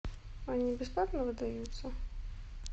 они бесплатно выдаются